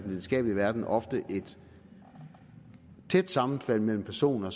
videnskabelige verden ofte er et tæt sammenfald mellem personer